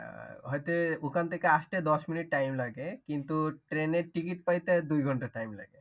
হয়তো ওখান থেকে আসতে দশ মিনিট time লাগে। কিন্তু ট্রেনের ticket পাইতে দুই ঘন্টা time লাগে।